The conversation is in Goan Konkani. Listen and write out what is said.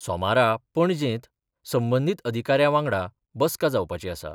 सोमारा पणजेंत संबंदीत अधिकाऱ्या वांगडा बस्का जावपाची आसा.